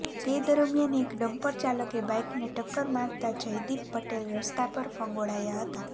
તે દરમિયાન એક ડમ્પર ચાલકે બાઇકને ટક્કર મારતા જયદીપ પટેલ રસ્તા પર ફંગોળાયા હતા